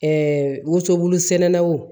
Ɛɛ woso bulu sɛnɛlaw